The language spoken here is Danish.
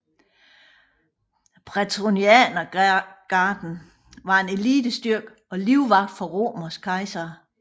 Prætorianergarden var en elitestyrke og livvagt for romerske kejsere